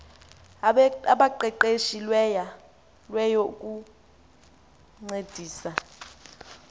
abaqeqeshe lweyo ukuncedisa